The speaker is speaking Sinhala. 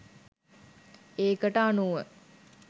ඒකට අනුව